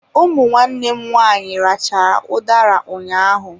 Ụmụ nwanne m nwaanyị rachaa udara ụnyaahụ.